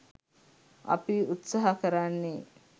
අපි උත්සහ කරන්නේ